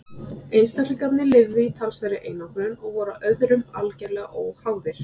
einstaklingarnir lifðu í talsverðri einangrun og voru öðrum algerlega óháðir